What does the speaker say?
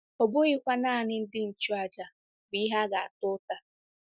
Ọ bụghịkwa nanị ndị nchụàjà bụ ihe a ga-ata ụta.